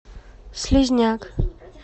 слизняк